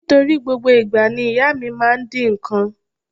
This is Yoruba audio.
Nítorí gbogbo ìgbà ni ìyá mi máa ń dín nǹkan.